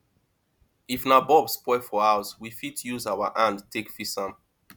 if na bulb spoil for house we fit use our hand take fix am